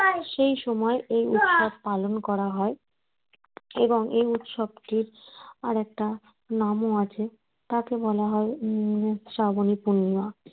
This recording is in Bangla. সেই সময় এই উৎসব পালন করা হয় এবং এই উৎসবকে আর একটা নামও আছে তাকে বলা হয় উম শ্রাবণী পূর্ণিমা